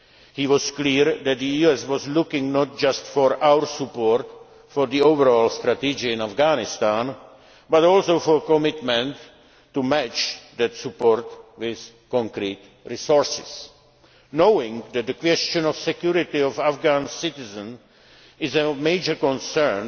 the EU agenda. He was clear that the US was looking not just for our support for the overall strategy in Afghanistan, but also for commitment to match that support with concrete resources. Knowing that the question of security of Afghan citizens is